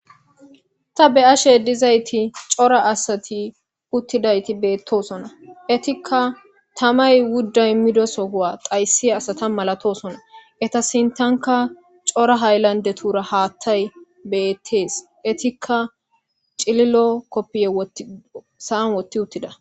Ta be ashe dizayti cora asati uttidayti beettosona etikka tamay wudda immidosohowa qayssi asata malatosona eta sintanka cora hayllande tura haattay beettees etikka cililo koppiye sa'an wotti uttida.